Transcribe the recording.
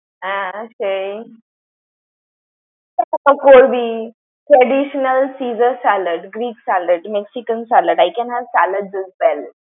হ্যাঁ, সেই তা তো করবই। Traditional Caesar salad, Greek salad, Mexican salad I can have salad as well ।